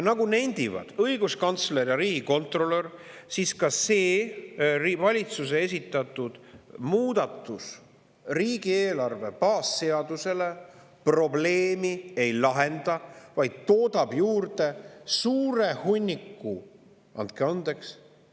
Nagu nendivad õiguskantsler ja riigikontrolör, ka see valitsuse esitatud muudatus riigieelarve baasseaduse probleemi ei lahenda, vaid toodab juurde suure hunniku – andke andeks!